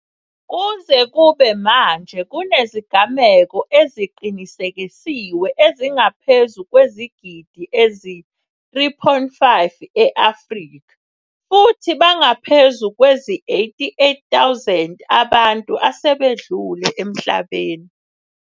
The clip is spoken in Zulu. Kuze kube manje kunezigameko eziqinisekisiwe ezingaphezu kwezigidi ezi-3.5 e-Afrika, futhi bangaphezu kwezi88 000 abantu asebedlule emhlabeni.